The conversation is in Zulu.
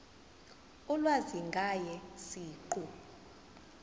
ulwazi ngaye siqu